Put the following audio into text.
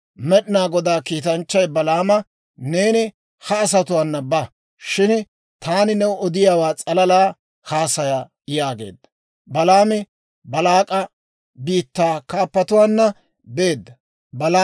Med'inaa Godaa kiitanchchay Balaama, «Neeni ha asatuwaana ba; shin taani new odiyaawaa s'alalaa haasaya» yaageedda. Balaami Baalaak'a biittaa kaappatuwaanna beedda.